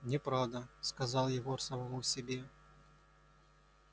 неправда сказал егор самому себе